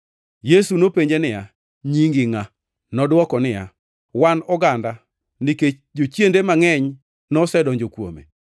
Yesu nopenje niya, “Nyingi ngʼa?” Nodwoko niya, “Wan oganda” nikech jochiende mangʼeny nosedonjo kuome.